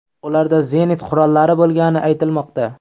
Ularda zenit qurollari bo‘lgani aytilmoqda.